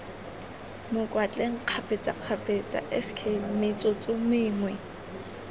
mokwatleng kgapetsakgapetsa sk metsotso mengwe